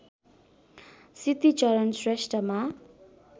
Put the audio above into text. Siddhicharan श्रेष्ठमा